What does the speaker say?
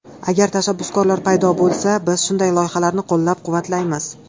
Agar tashabbuskorlar paydo bo‘lsa, biz shunday loyihalarni qo‘llab-quvvatlaymiz.